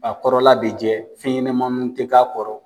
A kɔrɔla bɛ jɛ fenɲɛnamanin tɛ k'a kɔrɔ.